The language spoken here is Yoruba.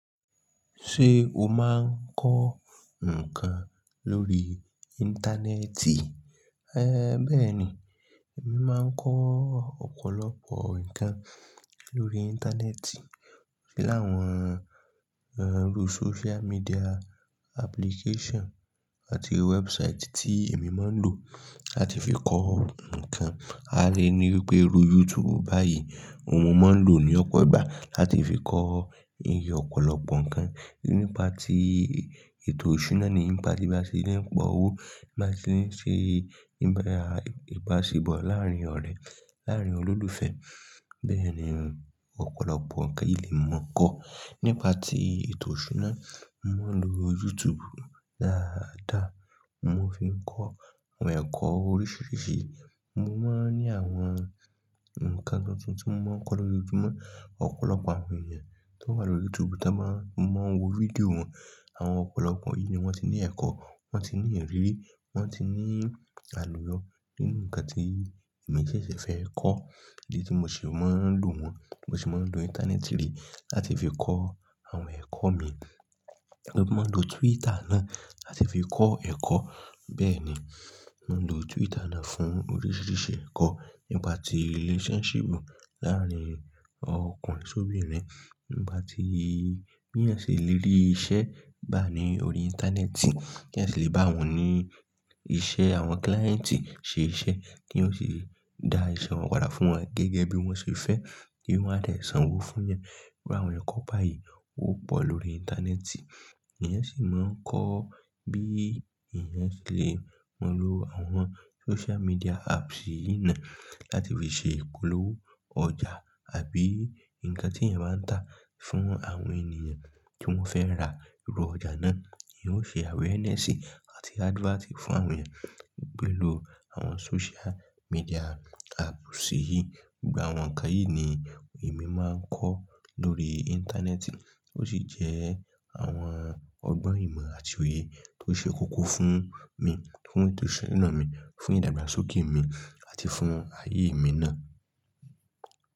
Ṣé o máa ń kọ́ nǹkan lórí Íńtánẹ́ẹ̀tì? Ẹ̀ bẹ́ẹ̀ ni, èmi máa ń kọ́ ọ̀pọ̀lọpọ̀ nǹkan lórí Íńtánẹ́ẹ̀tì. Láàwọn, ẹ́, lu sóciá míḍíà ápúlíkéṣàn àti wẹ́ẹ́busáìtì tí èmi máa ń lò láti fi kọ́ nǹkan. A lè ní wípé lu Yútùúbù báyìí, mo máa ń lò ní ọpẹ́ ìgbà láti fi kọ́ iye ọ̀pọ̀lọpọ̀ nǹkan nípa tí ètò ìṣúná ni, nípa tí bá ṣe lé pọ̀ ó, bá ṣe ń ṣe níbẹ̀ àìbáṣe bọ̀ láàárín ọ̀rẹ́, láàárín olólùfẹ́. Bẹ́ẹ̀ ni, ọ̀pọ̀lọpọ̀ ǹkan yìí lè mọ̀ kó. Nípa tí ètò ìṣúná, mo ń lo Yútùúbù dáadáa, mo fi ń kọ́ àwọn ẹ̀kọ́ oríṣiríṣi. Mo máa ń ní àwọn ǹkan tuntun tí mo máa ń kọ́ lójoojumo. Ọ̀pọ̀lọpọ̀ àwọn ènìyàn tó wà lórí Yútùúbù táa máa ń, máa ń wo fídíò wọn. Àwọn ọ̀pọ̀lọpọ̀ yìí ni wọ́n ti ní ẹ̀kọ́, wọ́n ti ní ìrírí, wọ́n ti ní àlùyọ. Nínú ǹkan tí èmi ṣẹ̀ṣẹ̀ fẹ́ kọ́, èyí tí mo sì máa ń lò wọ́n, mo sì máa ń lò Íńtánẹ́ẹ̀tì yìí láti fi kọ́ àwọn ẹ̀kọ́ mi. Mo máa ń lo Túítà náà láti fi kọ́ ẹ̀kọ́. Bẹ́ẹ̀ ni, mo ń lo Túítà náà fún oríṣiríṣi ẹ̀kọ́. Nípa tí ríléṣọ́nṣípù láàárín ọkùnrin s'óbírin, nípa tí bí èèyàn ṣe lè rí iṣẹ́ gbá ní orí Íńtánẹ́ẹ̀tì, kí èèyàn ṣe lè bá wọn ní iṣẹ́, àwọn kíláìǹtì ṣe iṣẹ́ kí wọ́n sì dá ìsanwó padà fún wọn gẹ́gẹ́ bí wọ́n ṣe fẹ́ kí wọ́n àlẹ̀ sanwó fún wọn. Iru àwọn ẹ̀kọ́ báyìí, ó pọ̀ lórí Íńtánẹ́ẹ̀tì. Ẹ̀yàn sì máa ń kọ́ bí èèyàn ṣe lè lo àwọn sóciá míḍíà áàpù sí yín náà láti fi ṣe ìpolówó ọjà àbí ǹkan tí èèyàn bá ń tà fún àwọn ènìyàn tí wọ́n fẹ́ rà irú ọjà náà. Ẹ̀yàn ó ṣe àwẹ́rẹ́nesí àti ádífátì fún àwọn èèyàn pẹ̀lú àwọn sóciá míḍíà áàpù sí yí. Gba àwọn ǹkan yìí ni èmi máa ń kọ́ lórí Íńtánẹ́ẹ̀tì tó sì jẹ́ àwọn ọgbọ́n ìmọ̀ àti òye tó ṣe kókó fún mi, fún ètò ìṣúná mi, fún ìdàgbàsókè mi àti fún ayé mi náà.